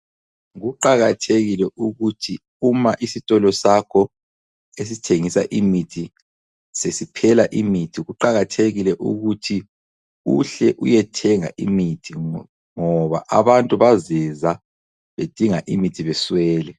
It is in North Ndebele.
Kuqakathekile ukuthi uma isitolo sakho esithengisa imithi sesiphela imithi, kuqakathekile ukuthi uhle uyethenga imithi ngoba abantu bazeza bedinga imithi beswele.